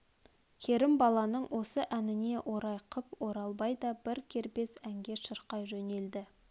керімбаланың осы әніне орай қып оралбай да бір кербез әнге шырқай жөнелді